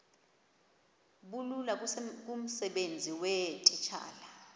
bulula kumsebenzi weetitshala